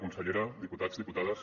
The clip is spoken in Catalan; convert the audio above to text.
consellera diputats diputades